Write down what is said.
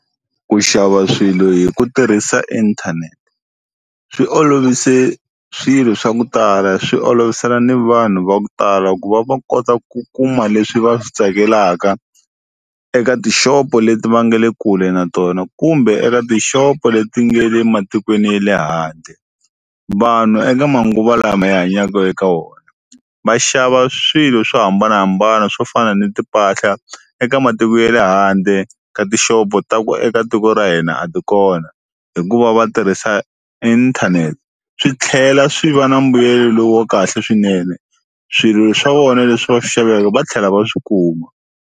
Ku xava swilo hi ku tirhisa inthanete swi olovise swilo swa ku tala swi olovisela ni vanhu va ku tala ku va va kota ku kuma leswi va swi tsakelaka eka tishopo leti va nga le kule na tona kumbe eka tishopo leti nga le matikweni ya le handle. Vanhu eka manguva lama ya hanyaka eka wona va xava swilo swo hambanahambana swo fana ni timpahla eka matiko ye le handle ka tishopo ta ku eka tiko ra hina a ti kona hikuva va tirhisa inthanete swi tlhela swi va na mbuyelo lowu wa kahle swinene swilo swa vona leswi va swi xavaka va tlhela va swi kuma.